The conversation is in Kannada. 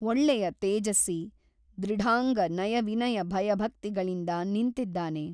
ಒಳ್ಳೆಯ ತೇಜಸ್ಸಿ ದೃಢಾಂಗ ನಯವಿನಯ ಭಯಭಕ್ತಿಗಳಿಂದ ನಿಂತಿದ್ದಾನೆ.